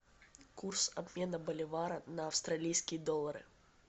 курс обмена боливара на австралийские доллары